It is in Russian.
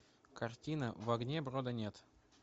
картина в огне брода нет